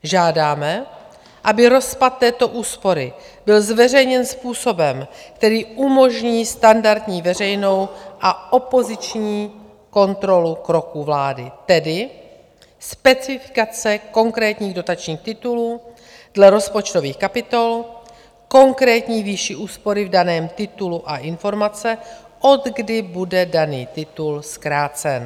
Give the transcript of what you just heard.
Žádáme, aby rozpad této úspory byl zveřejněn způsobem, který umožní standardní veřejnou a opoziční kontrolu kroků vlády, tedy specifikace konkrétních dotačních titulů dle rozpočtových kapitol, konkrétní výši úspory v daném titulu a informace, odkdy bude daný titul zkrácen.